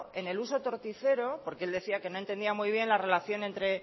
en el uso torticero porque él decía que no entendía muy bien la relación